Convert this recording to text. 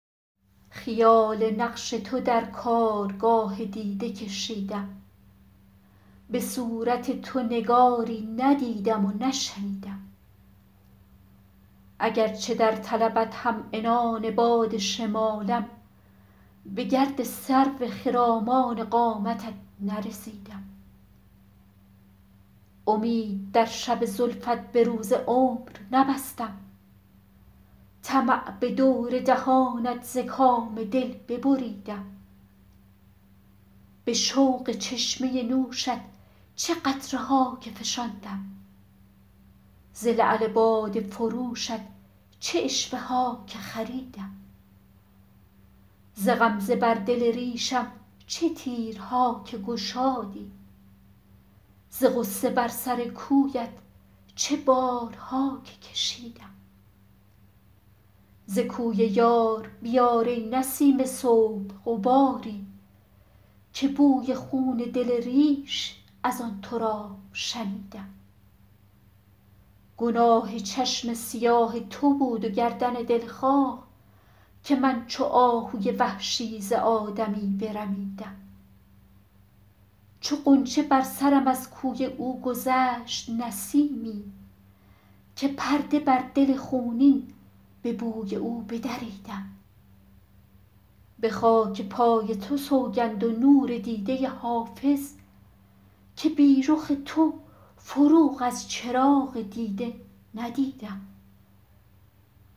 خیال نقش تو در کارگاه دیده کشیدم به صورت تو نگاری ندیدم و نشنیدم اگرچه در طلبت هم عنان باد شمالم به گرد سرو خرامان قامتت نرسیدم امید در شب زلفت به روز عمر نبستم طمع به دور دهانت ز کام دل ببریدم به شوق چشمه نوشت چه قطره ها که فشاندم ز لعل باده فروشت چه عشوه ها که خریدم ز غمزه بر دل ریشم چه تیرها که گشادی ز غصه بر سر کویت چه بارها که کشیدم ز کوی یار بیار ای نسیم صبح غباری که بوی خون دل ریش از آن تراب شنیدم گناه چشم سیاه تو بود و گردن دلخواه که من چو آهوی وحشی ز آدمی برمیدم چو غنچه بر سرم از کوی او گذشت نسیمی که پرده بر دل خونین به بوی او بدریدم به خاک پای تو سوگند و نور دیده حافظ که بی رخ تو فروغ از چراغ دیده ندیدم